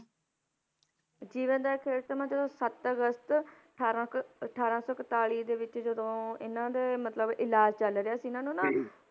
ਜੀਵਨ ਦਾ ਅਖ਼ੀਰ ਸਮਾਂ ਜਦੋਂ ਸੱਤ ਅਗਸਤ ਅਠਾਰਾਂ ਸੌ ਅਠਾਰਾਂ ਸੌ ਇਕਤਾਲੀ ਦੇ ਵਿੱਚ ਜਦੋਂ ਇਹਨਾਂ ਦੇ ਮਤਲਬ ਇਲਾਜ਼ ਚੱਲ ਰਿਹਾ ਸੀ ਇਹਨਾਂ ਨੂੰ ਨਾ